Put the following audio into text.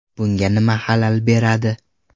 Bunga nima xalal beradi?